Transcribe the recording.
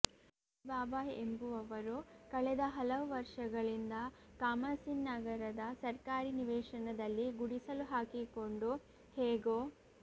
ಮದನಿ ಬಾಬಾ ಎಂಬುವವರು ಕಳೆದ ಹಲವು ವರ್ಷಗಳಿಂದ ಕಾಮಸಿನ್ ನಗರದ ಸರ್ಕಾರಿ ನಿವೇಶನದಲ್ಲಿ ಗುಡಿಸಲು ಹಾಕಿಕೊಂಡು ಹೇಗೋ